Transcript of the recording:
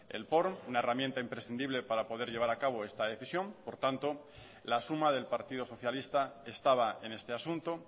el porn una herramienta imprescindible para poder llevar a cabo esta decisión por tanto la suma del partido socialista estaba en este asunto